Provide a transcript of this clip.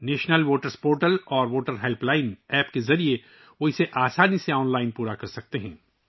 وہ national voter service portal اور voter helpline app کے ذریعے اسے آسانی سے آن لائن مکمل کرسکتے ہیں